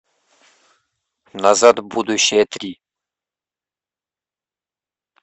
назад в будущее три